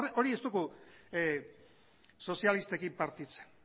ez dugu sozialistekin partitzen